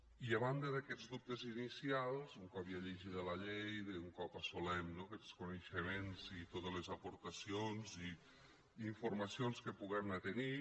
i a banda d’aquests dubtes inicials un cop ja llegida la llei un cop assolim no aquests coneixements i totes les aportacions i informacions que puguem anar tenint